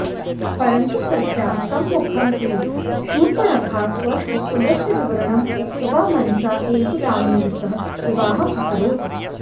परन्तु तस्याः सम्मुखम् एव शूर्पणखा स्वस्य कुलस्य विवरणम् उक्त्वा मनसा एव रामेण सह विवाहम् अकरोत्